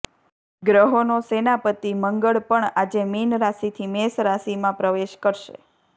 ગ્રહોનો સેનાપતિ મંગળ પણ આજે મીન રાશિથી મેષ રાશિમાં પ્રવેશ કરશે